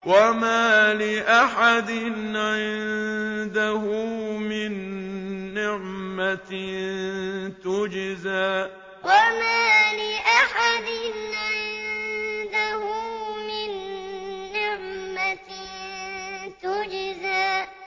وَمَا لِأَحَدٍ عِندَهُ مِن نِّعْمَةٍ تُجْزَىٰ وَمَا لِأَحَدٍ عِندَهُ مِن نِّعْمَةٍ تُجْزَىٰ